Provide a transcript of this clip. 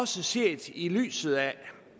set i lyset af